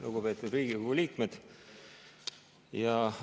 Lugupeetud Riigikogu liikmed!